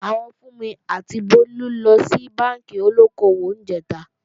Àwọn Fúnmi àti Bólú lọ sí bánkì olóko-òwò níjẹ̀ta